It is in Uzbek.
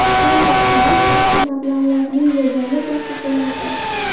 Endi qirol barcha mablag‘larning yagona egasi bo‘ladi.